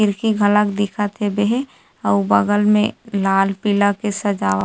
खिड़की घलक दिखत हबे आऊ बगल मे लाल पीला के सजावट--